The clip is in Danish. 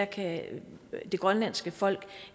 kan det grønlandske folk